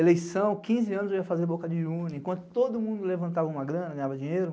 Eleição, quinze anos eu ia fazer Boca de, enquanto todo mundo levantava uma grana, ganhava dinheiro.